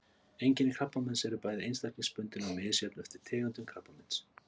Einkenni krabbameins eru bæði einstaklingsbundin og misjöfn eftir tegundum krabbameins.